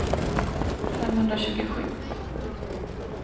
femhundratjugosju